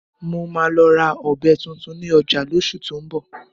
Mo máa lọ ra ọ̀bẹ tuntun ní ọjà lóṣù tó ń bọ̀